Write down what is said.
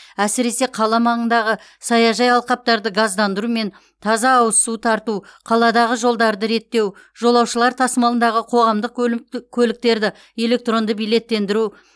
әсіресе қала маңындағы саяжай алқаптарды газдандыру мен таза ауыз су тарту қаладағы жолдарды реттеу жолаушылар тасымалындағы қоғамдық көліктерді электронды билеттендіру